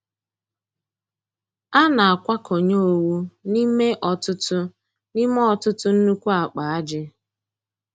A na-akwakọnye owu n'ime ọtụtụ n'ime ọtụtụ nnukwu ákpà ájị̀.